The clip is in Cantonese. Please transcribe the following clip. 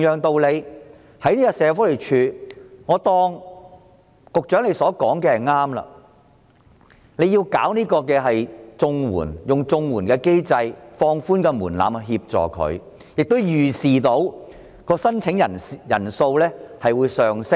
我暫且相信局長所說的理由成立，利用綜援機制，放寬門檻來幫助這些失業人士，並預視申請人數會上升。